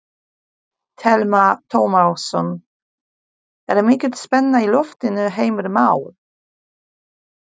Telma Tómasson: Er mikil spenna í loftinu Heimir Már?